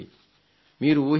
మీరు ఊహించగలరు